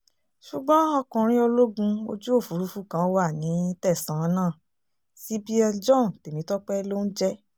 ṣùgbọ́n ọkùnrin ológun ojú òfúrufú kan wà ní tẹ̀sán náà cpl john temitope ló ń jẹ́